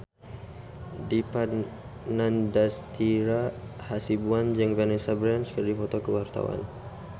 Dipa Nandastyra Hasibuan jeung Vanessa Branch keur dipoto ku wartawan